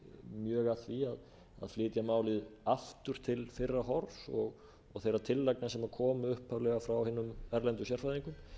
mjög að því að flytja málið aftur til fyrra horfs og þeirra tillagna sem komu upphaflega frá hinum erlendu sérfræðingum